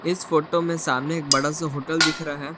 इस फोटो में सामने एक बड़ा सा होटल दिख रहा है।